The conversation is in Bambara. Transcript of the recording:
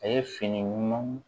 A ye fini ɲumanw